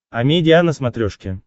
амедиа на смотрешке